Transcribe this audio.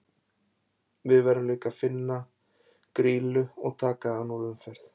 Við verðum líka að finna, Grýlu og taka hana úr umferð.